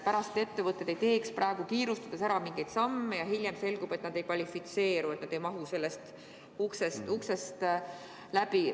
Tähtis on, et nad ei teeks praegu kiirustades mingeid samme, sest hiljem võib selguda, et nad ei kvalifitseeru, nad ei mahu sellest uksest läbi.